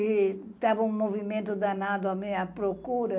E estava um movimento danado à minha procura.